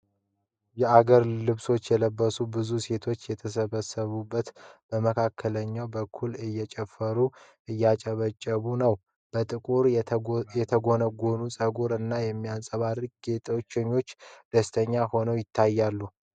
የአገር ልብሶችን የለበሱ ብዙ ሴቶች ተሰብስበው በመካከለኛው በኩል እየጨፈሩና እያጨበጨቡ ነው። በጥቁር የተጎነጎነ ፀጉር እና በሚያንጸባርቁ ጌጣጌጦች ደስተኛ ሆነው ይታያሉ።